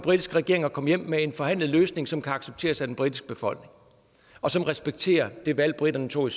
britiske regering at komme hjem med en forhandlet løsning som kan accepteres af den britiske befolkning og som respekterer det valg briterne tog i